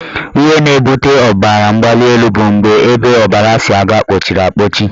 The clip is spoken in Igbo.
Ihe na-ebute ọbaramgbalịelu bụ mgbe ebe ọbara si aga kpọchiri akpọchi